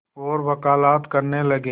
और वक़ालत करने लगे